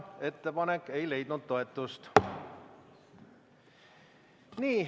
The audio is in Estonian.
Ettepanek ei leidnud toetust.